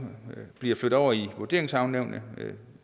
bliver flyttet over i vurderingsankenævnene